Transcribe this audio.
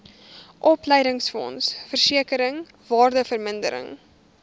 opleidingsfonds versekering waardevermindering